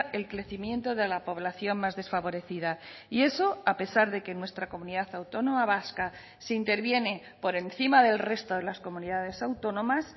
el crecimiento de la población más desfavorecida y eso a pesar de que en nuestra comunidad autónoma vasca se interviene por encima del resto de las comunidades autónomas